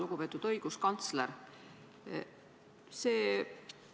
Lugupeetud õiguskantsler!